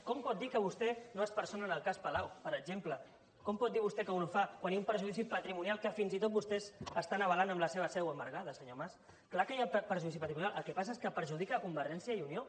com pot dir que vostè no es persona al cas palau per exemple com pot dir vostè que no ho fa quan hi ha un perjudici patrimonial que fins i tot vostès estan avalant amb la seva seu embargada senyor mas clar que hi ha perjudici patrimonial el que passa és que perjudica convergència i unió